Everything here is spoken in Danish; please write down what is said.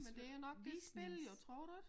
Men det jo nok det spil jo tror du ik?